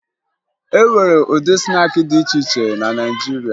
E nwere ụdị snaakị dị iche iche na Naịjirịa